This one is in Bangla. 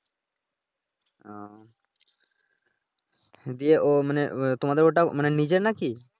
উহ দিয়ে ও মানি তোমাদের ওটা মানি নিজের নাকি